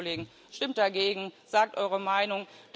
Also bitte, Kollegen Stimmt dagegen, sagt eure Meinung!